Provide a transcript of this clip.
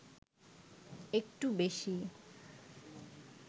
একটু বেশি